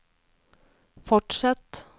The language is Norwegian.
fortsett